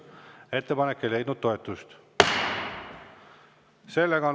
Ettepanek ei leidnud toetust.